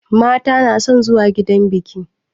Mata na son zuwa gidan biƙi